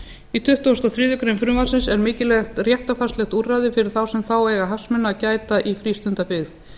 í tuttugasta og þriðju greinar frumvarpsins er mikilvægt réttarfarslegt úrræði fyrir þá sem þá eiga hagsmuna að gæta í frístundabyggð